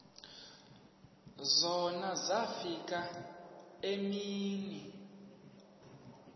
zona zafika iimini